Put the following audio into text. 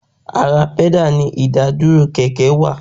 Ara pẹ́dà ni ìdàdúró kẹ̀kẹ́ wà